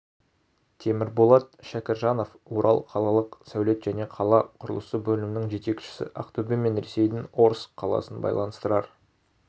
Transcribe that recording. темірболат шәкіржанов орал қалалық сәулет және қала құрылысы бөлімінің жетекшісі ақтөбе мен ресейдің орск қаласын байланыстырар